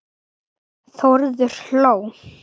Þórður hló.